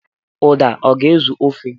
Uda ọ ga-ezu ofe?